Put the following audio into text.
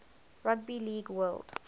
rugby league world